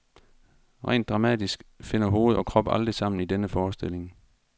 Rent dramatisk finder hoved og krop aldrig sammen i denne forestilling.